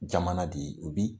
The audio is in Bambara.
Jama na de u bi